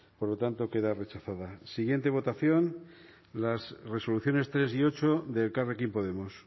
por lo tanto queda rechazada siguiente votación las resoluciones tres y ocho de elkarrekin podemos